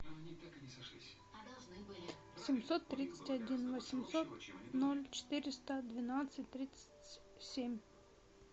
семьсот тридцать один восемьсот ноль четыреста двенадцать тридцать семь